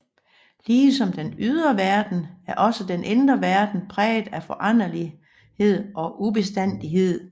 Ligesom den ydre verden er også den indre verden præget af foranderlighed og ubestandighed